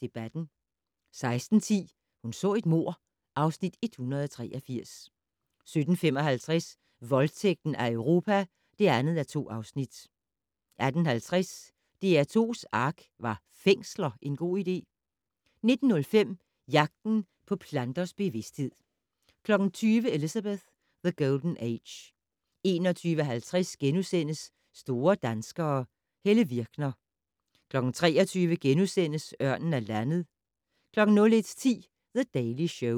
Debatten * 16:10: Hun så et mord (Afs. 183) 17:55: Voldtægten af Europa (2:2) 18:50: DR2's ARK - Var fængsler en god idé? 19:05: Jagten på planters bevidsthed 20:00: Elizabeth: The Golden Age 21:50: Store danskere - Helle Virkner * 23:00: Ørnen er landet * 01:10: The Daily Show